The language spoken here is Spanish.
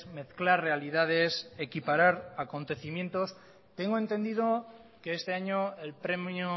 mezclar realidades equiparar acontecimientos tengo entendido que este año el premio